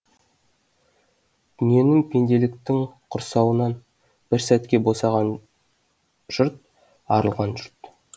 дүниенің пенделіктің құрсауынан бір сәтке босаған жұрт арылған жұрт